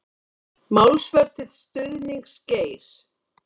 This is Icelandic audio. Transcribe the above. Málsvörn til stuðnings Geir